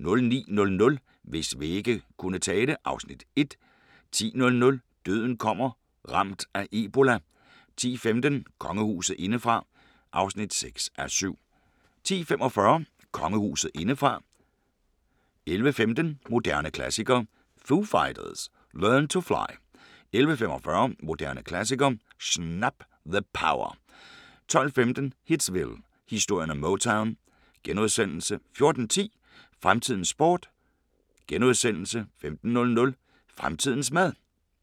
09:00: Hvis vægge kunne tale (Afs. 1) 10:00: Døden kommer – Ramt af ebola 10:15: Kongehuset indefra (6:7) 10:45: Kongehuset indefra 11:15: Moderne klassikere: Foo Fighters – Learn To Fly 11:45: Moderne Klassikere: Snap! – The Power 12:15: Hitsville: Historien om Motown * 14:10: Fremtidens sport * 15:00: Fremtidens mad